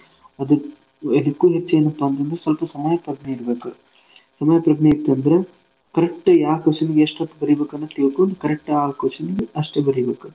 ಅದ್~ ಅದ್ಕೂ ಹೆಚ್ಚ ಎನ್ಪಾ ಅಂತನದ್ರ ಸ್ವಲ್ಪಾ ಸಮಯಪ್ರಜ್ಞೆ ಇರ್ಬೇಕ್. ಸಮಯಪ್ರಜ್ಞೆ ಇತ್ತಂದ್ರ correct ಯಾವ್ question ಗೆ ಎಸ್ಟ್ ಹೊತ್ತ ಬರಿಬೇಕ್ ಅನ್ನೋದ್ ತಿಳ್ಕೊಂಡ್ correct ಆ question ಗೆ ಅಸ್ಟೇ ಬರಿಬೇಕ್.